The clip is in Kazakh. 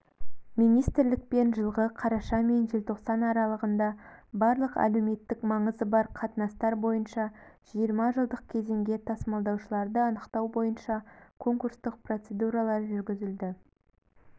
министрлікпен жылғы қараша мен желтоқсан аралығында барлық әлеуметтік маңызы бар қатынастар бойынша жиырма жылдық кезеңге тасымалдаушыларды анықтау бойынша конкурстық процедуралар жүргізілді